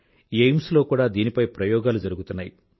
AIIMS లో కూడా దీనిపై ప్రయోగాలు జరుగుతున్నాయి